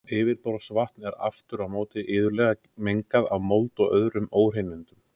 Yfirborðsvatn er aftur á móti iðulega mengað af mold og öðrum óhreinindum.